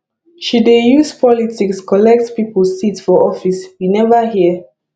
she dey use politics collect pipo seat for office you neva hear